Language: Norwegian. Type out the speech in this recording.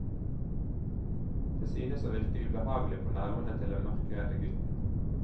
Den syntes å virke ubehagelig på nervene til den mørkredde gutten.